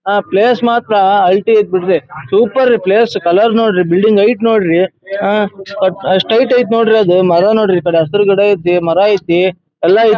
ಆ ಪ್ಲೇಸ್ ಮಾತ್ರ ಅಳ್ತೀ ಐತೆ ಬಿಡ್ರಿ. ಸೂಪರ್ರೀ ಪ್ಲೇಸ್ ಕಲರ್ ನೋಡ್ರಿ ಬಿಲ್ಡಿಂಗ್ ಹೈಟ್ ನೋಡ್ರಿ ಆ ಅಷ್ಟು ಹೈಟ್ ಐತೆ ನೋಡ್ರಿ ಅದು ಮರ ನೋಡ್ರಿ ಈ ಕಡೆ ಹಸುರು ಗಿಡ ಐತೆ ಮರ ಐತೆ ಎಲ್ಲಾ ಐತೆ .